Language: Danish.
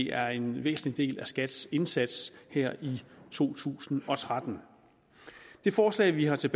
er en væsentlig del af skats indsats her i to tusind og tretten det forslag vi har til